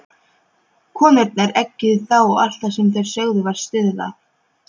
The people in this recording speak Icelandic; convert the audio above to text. Konurnar eggjuðu þá og allt sem þær sögðu var stuðlað.